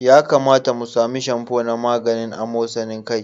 Ya kamata mu sami shamfo na maganin amosarin kai.